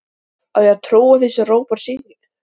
Á ég að trúa því sem Róbert segir?